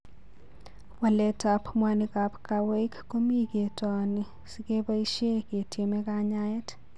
Waletab mwanikab kawaik ko mi ketooni sikeboishe ketieme kanyaet.